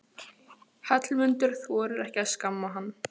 Hallmundur þorir ekki að skamma hann.